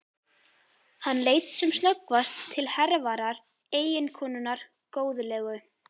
Hann leit sem snöggvast til Hervarar, eiginkonunnar góðlegu.